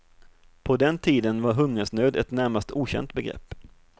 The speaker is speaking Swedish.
På den tiden var hungersnöd ett närmast okänt begrepp.